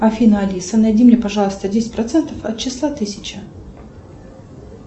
афина алиса найди мне пожалуйста десять процентов от числа тысяча